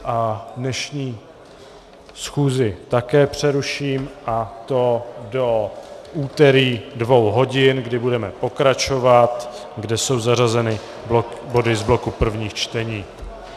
A dnešní schůzi také přeruším, a to do úterý dvou hodin, kdy budeme pokračovat, kde jsou zařazeny body z bloku prvních čtení.